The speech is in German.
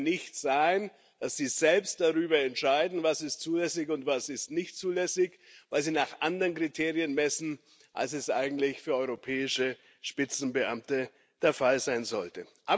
Es kann ja nicht sein, dass sie selbst darüber entscheiden, was zulässig ist und was nicht zulässig ist, weil sie nach anderen Kriterien messen, als es eigentlich für europäische Spitzenbeamte der Fall sein sollte.